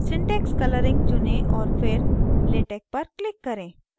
syntax colouring चुनें और फिर latex पर click करें